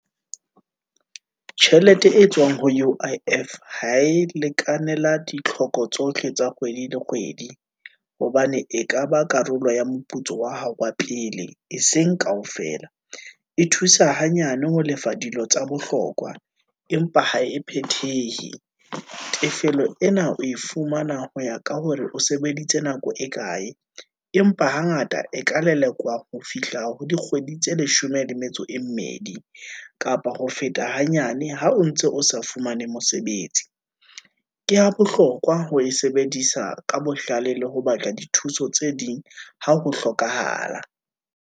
Tjhelete e tswang ho U_I_F, ha e lekane la ditlhoko tsohle tsa kgwedi le kgwedi, hobane e kaba karolo ya moputso wa hao wa pele e seng kaofela. E thusa hanyane ho lefa dilo tsa bohlokwa, empa ha e phethehe. Tefello ena o e fumana ho ya ka hore o sebeditse nako e kae, empa hangata e ka lelekwa ho fihla ho dikgwedi tse leshome le metso e mmedi, kapa ho feta hanyane ha o ntse o sa fumane mosebetsi, ke ha bohlokwa ho e sebedisa ka bohlale, le ho batla dithuso tse ding, Ha ho hlokahala.